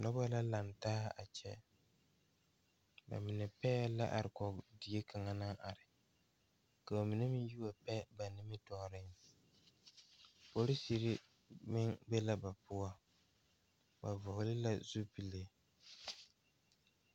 Dɔɔba la lantaa ba ba zeŋ leɛ la ba puori ko zie ba naŋ daare bayi zeŋ ta la teŋa bata vɔgle la sapele naŋ waa peɛle bonyene vɔgle sapele naŋ e sɔglɔ ba taa la ba tontuma boma kaa waa zupele.